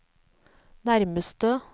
nærmeste